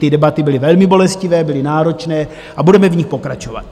Ty debaty byly velmi bolestivé, byly náročné a budeme v nich pokračovat.